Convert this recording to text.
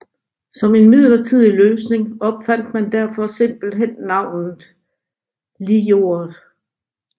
Som en midlertidig løsning opfandt man derfor simpelthen navnet Lijordet